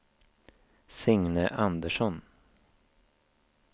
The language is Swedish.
Signe Andersson